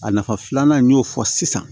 A nafa filanan n y'o fɔ sisan